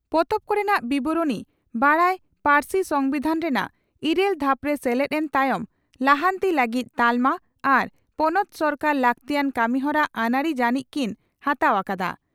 ᱯᱚᱛᱚᱵ ᱠᱚᱨᱮᱱᱟᱜ ᱵᱤᱵᱚᱨᱚᱬᱤ ᱥᱟᱱᱛᱟᱲᱤ ᱯᱟᱹᱨᱥᱤ ᱥᱚᱢᱵᱤᱫᱷᱟᱱ ᱨᱮᱱᱟᱜ ᱤᱨᱟᱹᱞ ᱫᱷᱟᱯᱨᱮ ᱥᱮᱞᱮᱫ ᱮᱱ ᱛᱟᱭᱚᱢ ᱞᱟᱦᱟᱱᱛᱤ ᱞᱟᱹᱜᱤᱫ ᱛᱟᱞᱢᱟ ᱟᱨ ᱯᱚᱱᱚᱛ ᱥᱚᱨᱠᱟᱨ ᱞᱟᱹᱠᱛᱤᱭᱟᱱ ᱠᱟᱹᱢᱤᱦᱚᱨᱟ ᱟᱹᱱᱟᱹᱨᱤ ᱡᱟᱹᱱᱤᱡ ᱠᱤᱱ ᱦᱟᱛᱟᱣ ᱟᱠᱟᱫᱼᱟ ᱾